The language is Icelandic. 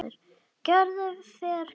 Gerður fer hvergi.